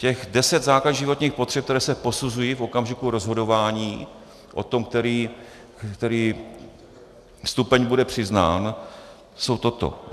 Těch deset základních životních potřeb, které se posuzují v okamžiku rozhodování o tom, který stupeň bude přiznán, jsou tyto.